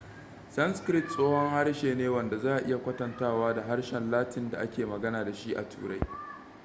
sanskrit tsohon harshe ne wanda za a iya kwatantawa da harshen latin da ake magana da shi a turai